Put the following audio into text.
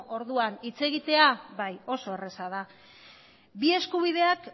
orduan hitz egitera bai oso erreza da bi eskubideak